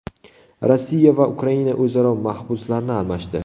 Rossiya va Ukraina o‘zaro mahbuslarni almashdi.